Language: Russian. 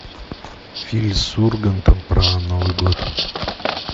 фильм с ургантом про новый год